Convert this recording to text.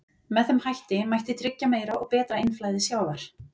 Með þeim hætti mætti tryggja meira og betra innflæði sjávar.